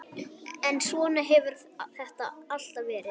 En svona hefur þetta alltaf verið.